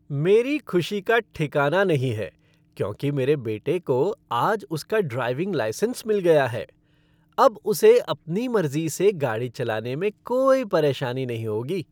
मेरी खुशी का ठिकाना नहीं है क्योंकि मेरे बेटे को आज उसका ड्राइविंग लाइसेंस मिल गया है। अब उसे अपनी मर्जी से गाड़ी चलाने में कोई परेशानी नहीं होगी।